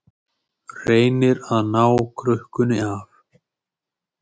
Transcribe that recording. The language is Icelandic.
Reynir að ná krukkunni af